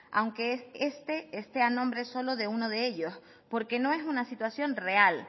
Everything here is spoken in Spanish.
aunque este este a nombre solo de uno de ellos porque no es una situación real